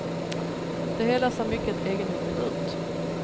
Det hela ser mycket egendomligt ut.